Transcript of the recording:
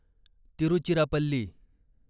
Tiruchirappalli